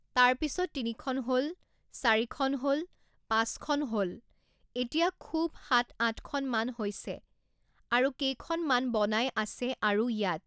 তাৰপিছত তিনিখন হ'ল, চাৰিখন হ'ল, পাঁচখন হ'ল এতিয়া খুউব সাত আঠখন মান হৈছে আৰু কেইখন মান বনাই আছে আৰু ইয়াত